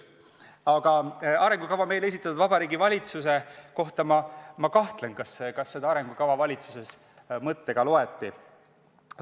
Aga arengukava meile esitatud Vabariigi Valitsuse puhul ma kahtlen, kas seda arengukava valitsuses mõttega loeti.